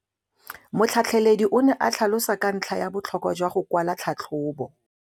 Motlhatlheledi o ne a tlhalosa ka ntlha ya botlhokwa jwa go kwala tlhatlhôbô.